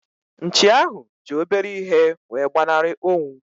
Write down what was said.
Nchi ahu ji obere ihe wee gbanari onwu